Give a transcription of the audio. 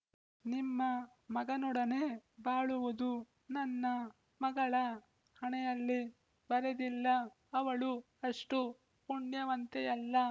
ನಿಮ್ಮ ಮಗನೊಡನೆ ಬಾಳುವುದು ನನ್ನ ಮಗಳ ಹಣೆಯಲ್ಲಿ ಬರೆದಿಲ್ಲ ಅವಳು ಅಷ್ಟು ಪುಣ್ಯವಂತೆಯಲ್ಲ